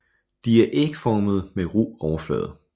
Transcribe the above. De er ægformede med ru overflade